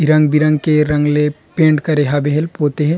इ रंग- बिरंग के रंग ले पेंट करे हवे हल पोते है।